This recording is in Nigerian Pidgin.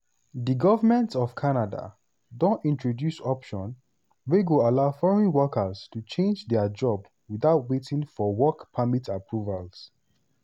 di govment of canada don introduce option wey go allow foreign workers to change dia job without waiting for work permit approvals.